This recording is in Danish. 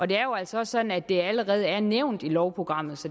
det er jo altså sådan at det allerede er nævnt i lovprogrammet så